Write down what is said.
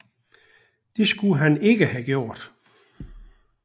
Det skulle han ikke have gjort